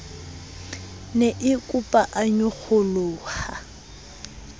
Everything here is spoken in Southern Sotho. ne e opa a nyokgoloha